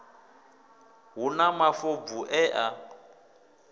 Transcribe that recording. hu na mafobvu e a